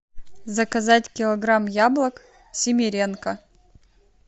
заказать килограмм яблок симиренко